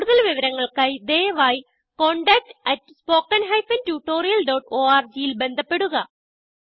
കുടുതൽ വിവരങ്ങൾക്കായി ദയവായിcontactspoken tutorialorgൽ ബന്ധപ്പെടുക